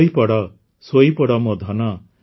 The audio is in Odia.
ଶୋଇପଡ଼ ଶୋଇପଡ଼ ମୋ ଧନ